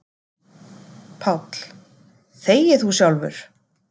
PÁLL: Þegi þú sjálfur!